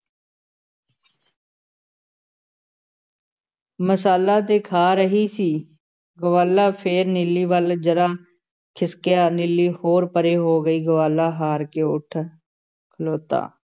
ਮਸਾਲਾ ਤੇ ਖਾ ਰਹੀ ਸੀ, ਗਵਾਲਾ ਫੇਰ ਨੀਲੀ ਵੱਲ ਜ਼ਰਾ ਖਿਸਕਿਆ, ਨੀਲੀ ਹੋਰ ਪਰੇ ਹੋ ਗਈ, ਗਵਾਲਾ ਹਾਰ ਕੇ ਉੱਠ ਖਲੋਤਾ।